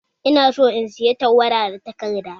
Ina son in saya tawada da takarda